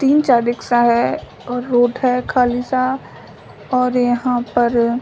तीन चार रिक्शा है और रोड है खाली सा और यहाँ पर --